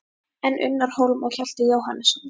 En Unnar Hólm og Hjalti Jóhannesson?